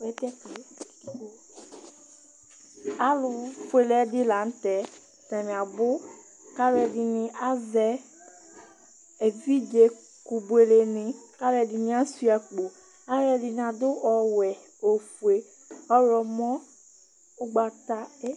Alʋfuele ɛdi lanʋtɛ atani abʋ kʋ atami ɛdini azɛ evidze kʋbueleni kʋ alʋɛdini asuia akpo Alʋɛdini adʋ ɔwɛ, ofue, ɔwlɔmɔ, ʋgbata bi